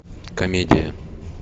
комедия